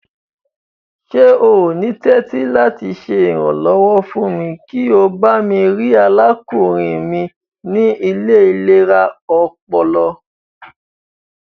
Ṣe o ni tẹ̀tì lati ṣe iranlọwọ fún mi kí o bami rii arákúnrin mi ni ile ilera ọpọlọ?